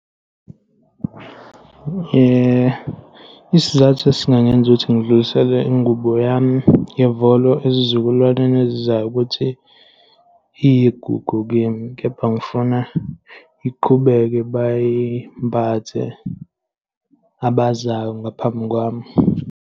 Isizathu esingangenza ukuthi ngidlulisele ingubo yami yovolo ezizukulwaneni ezizayo ukuthi iyigugu kimi, kepha ngifuna iqhubeke, bayimbathe abazayo ngaphambi kwami.